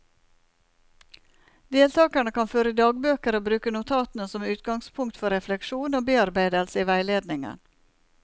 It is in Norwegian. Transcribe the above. Deltakerne kan føre dagbøker og bruke notatene som utgangspunkt for refleksjon og bearbeidelse i veiledningen.